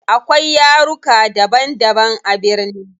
Akwai yaruka daban daban a birni.